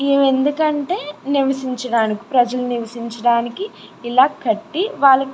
ఎందుకంటే నివసించడానికి ప్రజలు నివసించడానికి ఇలా కట్టి వాలా --